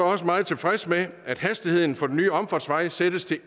også meget tilfreds med at hastigheden for den nye omfartsvej sættes til